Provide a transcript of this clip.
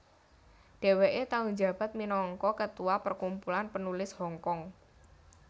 Dheweke tau njabat minangka ketua Perkumpulan Penulis Hongkong